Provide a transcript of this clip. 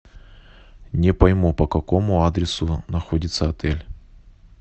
не пойму по какому адресу находится отель